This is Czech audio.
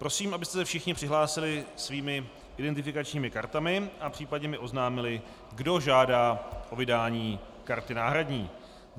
Prosím, abyste se všichni přihlásili svými identifikačními kartami a případně mi oznámili, kdo žádá o vydání karty náhradní.